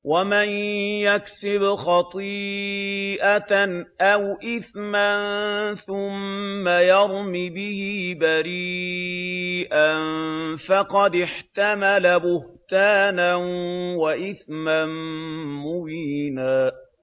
وَمَن يَكْسِبْ خَطِيئَةً أَوْ إِثْمًا ثُمَّ يَرْمِ بِهِ بَرِيئًا فَقَدِ احْتَمَلَ بُهْتَانًا وَإِثْمًا مُّبِينًا